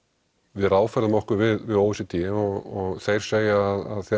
við ráðfærðum okkur við o e c d og þeir segja að